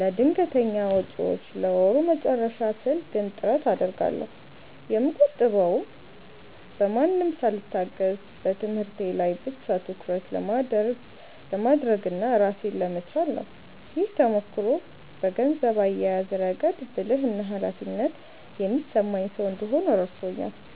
ለድንገተኛ ወጪዎችና ለወሩ መጨረሻ ስል ግን ጥረት አደርጋለሁ። የምቆጥበውም በማንም ሳልታገዝ በትምህርቴ ላይ ብቻ ትኩረት ለማድረግና ራሴን ለመቻል ነው። ይህ ተሞክሮ በገንዘብ አያያዝ ረገድ ብልህና ኃላፊነት የሚሰማኝ ሰው እንድሆን ረድቶኛል።